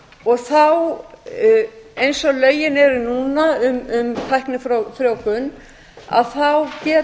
og veru þá eins og lögin eru núna um tæknifrjóvgun getur gjafinn hvort sem það er